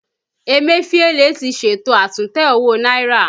Emefiele ti ṣètò àtúntẹ̀ owó náírà